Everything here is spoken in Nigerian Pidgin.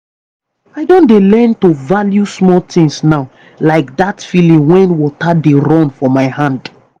i don dey learn to value smal things now like that feeling when water dey run for my hand.